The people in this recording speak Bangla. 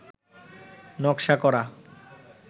নকশা করা